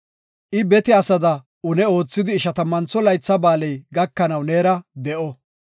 I bete asada une oothidi Ishatammantho Laytha Ba7aaley gakanaw neera de7o.